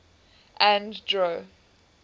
andro